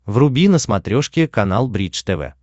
вруби на смотрешке канал бридж тв